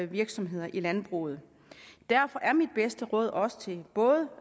virksomheder i landbruget derfor er mit bedste bud også både